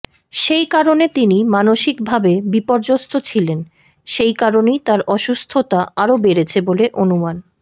সেই কারণে তিনি মানসিকভাবে বিপর্যস্ত ছিলেন সেই কারণেই তাঁর অসুস্থতা আরও বেড়েছে বলে অনুমান